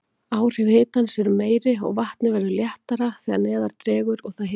Áhrif hitans eru meiri, og vatnið verður léttara þegar neðar dregur og það hitnar.